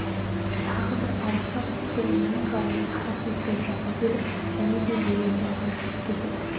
тағы бір ауыса түскен мұңжайын қара сөзбен жаза келіп және де өлеңге ауысып кетеді